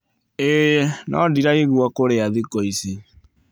ĩĩ, no ndiraigua kũrĩa thikũ ici.